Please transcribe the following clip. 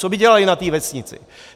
Co by dělali na té vesnici?